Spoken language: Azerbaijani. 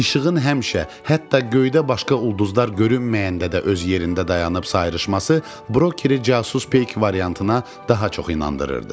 İşığın həmişə, hətta göydə başqa ulduzlar görünməyəndə də öz yerində dayanıb sayrışması Bronkiri casus peyki variantına daha çox inandırırdı.